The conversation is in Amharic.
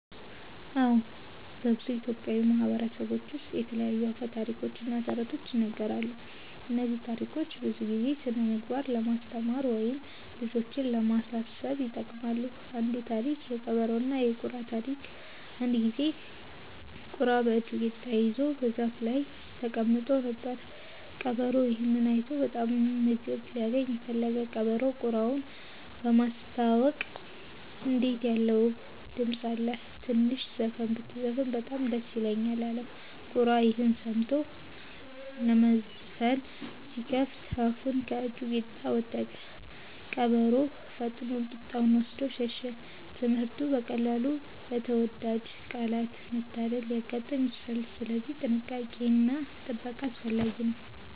አዎ፣ በብዙ ኢትዮጵያዊ ማህበረሰቦች ውስጥ የተለያዩ አፈ ታሪኮች እና ተረቶች ይነገራሉ። እነዚህ ታሪኮች ብዙ ጊዜ ስነ-ምግባር ለማስተማር ወይም ልጆችን ለማሳሰብ ይጠቅማሉ። አንዱ ታሪክ (የቀበሮና የቁራ ታሪክ) አንድ ጊዜ ቁራ በእጁ ቂጣ ይዞ በዛፍ ላይ ተቀምጦ ነበር። ቀበሮ ይህን አይቶ በጣም ምግብ ሊያገኝ ፈለገ። ቀበሮው ቁራውን በማስታወቅ “እንዴት ያለ ውብ ድምፅ አለህ! ትንሽ ዘፈን ብትዘፍን በጣም ደስ ይለኛል” አለው። ቁራ ይህን ሰምቶ ለመዘፈን ሲከፍት አፉን ከእጁ ቂጣ ወደቀ። ቀበሮ ፈጥኖ ቂጣውን ወስዶ ሸሸ። ትምህርቱ: በቀላሉ በተወዳጅ ቃላት መታለል ሊያጋጥም ይችላል፣ ስለዚህ ጥንቃቄ እና ጥበቃ አስፈላጊ ነው።